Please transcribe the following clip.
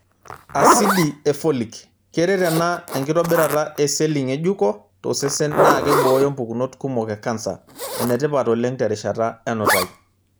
Asidi e Folic:keret ena enkitobirata e seli ng'ejuko tosesen naa keibooyo mpukunot kumok e kansa. Ene tipat oleng terishata enutai.